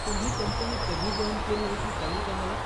तुम्ही कंपनी कधी जाॅइन केली होती कळेल का मला?